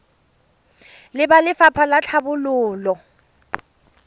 le ba lefapha la tlhabololo